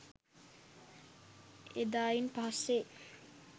එදායින් පස්සෙ